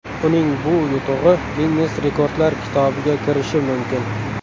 Uning bu yutug‘i Ginnes rekordlar kitobiga kirishi mumkin.